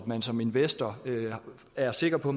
man som investor er sikker på